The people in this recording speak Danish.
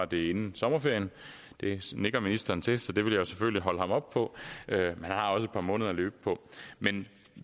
bliver inden sommerferien det nikker ministeren til så det vil jeg selvfølgelig holde ham op på han har også et par måneder at løbe på